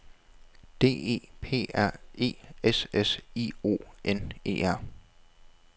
D E P R E S S I O N E R